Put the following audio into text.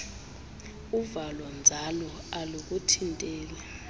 uvalo nzala alukuthinteli